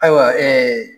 Ayiwa